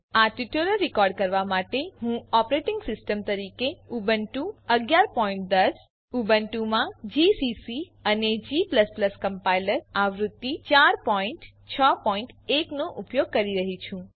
આ tutorial record કરવા માટે હું ઓપરેટિંગ સિસ્ટમ તરીકે ઉબુન્ટુ 1110 ઉબુન્ટુમાં જીસીસી અને g કમ્પાઇલર આવૃત્તિ 4 61 નો ઉપયોગ કરી રહ્યી છું